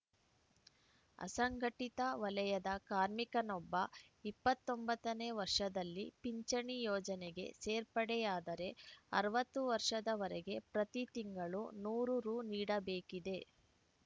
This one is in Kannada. ಅಸಂಘಟಿತ ವಲಯದ ಕಾರ್ಮಿಕನೊಬ್ಬ ಇಪ್ಪತ್ತ್ ಒಂಬತ್ತ ನೇ ವರ್ಷದಲ್ಲಿ ಪಿಂಚಣಿ ಯೋಜನೆಗೆ ಸೇರ್ಪಡೆಯಾದರೆ ಅರವತ್ತು ವರ್ಷದ ವರೆಗೆ ಪ್ರತಿ ತಿಂಗಳು ನೂರು ರು ನೀಡಬೇಕಿದೆ